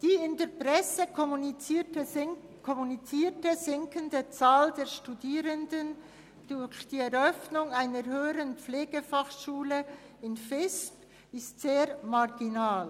Die in der Presse kommunizierte sinkende Anzahl Studierender durch die Eröffnung einer Höheren Pflegefachschule in Visp ist sehr marginal.